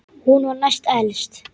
Hún var næst elst.